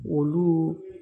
Olu